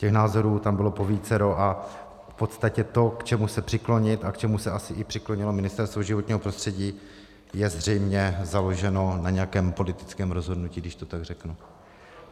Těch názorů tam bylo povícero a v podstatě to, k čemu se přiklonit a k čemu se asi i přiklonilo Ministerstvo životního prostředí, je zřejmě založeno na nějakém politickém rozhodnutí, když to tak řeknu.